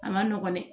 A ma nɔgɔn dɛ